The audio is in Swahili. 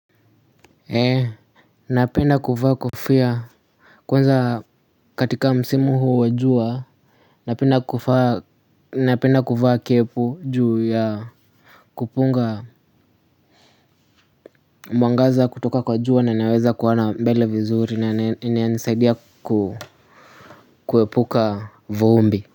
Ee napenda kuvaa kofia kwanza katika msimu huu wa jua napenda kuvaa napenda kuvaa kepu juu ya kupunga mwangaza kutoka kwa jua na naweza kuona mbele vizuri na inisaidia ku kuepuka vumbi.